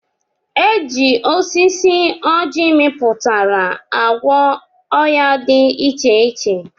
Eji oji osisi ọji miputara agwọ oya di iche iche.